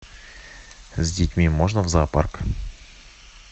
с детьми можно в зоопарк